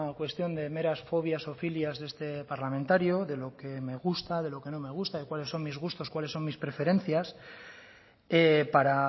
cuestión de meras fobias o filias de este parlamentario de lo que me gusta de lo que no me gusta de cuáles son mis gustos cuáles son mis preferencias para